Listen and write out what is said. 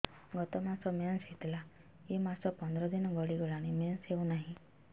ଗତ ମାସ ମେନ୍ସ ହେଇଥିଲା ଏ ମାସ ପନ୍ଦର ଦିନ ଗଡିଗଲାଣି ମେନ୍ସ ହେଉନାହିଁ